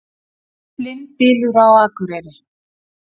Blindbylur á Akureyri